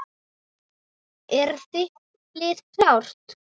Er þitt lið klárt?